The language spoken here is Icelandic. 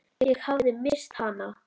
Ég hafði misst hana.